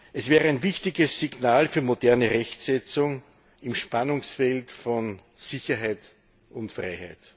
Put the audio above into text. Es wäre ein wichtiges Signal für eine moderne Rechtssetzung im Spannungsfeld von Sicherheit und Freiheit.